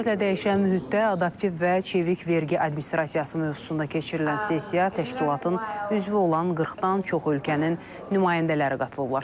Sürətlə dəyişən mühitdə adaptiv və çevik vergi administrasiyası mövzusunda keçirilən sessiya təşkilatın üzvü olan 40-dan çox ölkənin nümayəndələri qatılıblar.